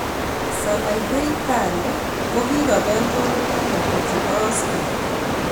Sanaipei Tande kokikobel kununoik ata chebo Oscar